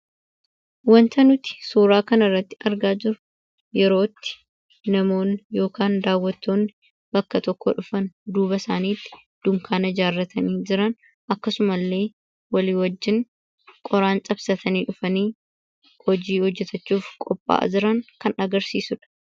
Wanta nuti suuraa kana irratti argaa jirru yeroo itti namoonni yookaan daawwattoonni bakka tokkoo dhufan duuba isaaniitti dunkaana ijaarratanii jiran, akkasuma illee walii wajjin qoraan cabsatanii dhufanii hojii hojjetachuuf qopha'aa jiran kan agarsiisuudha.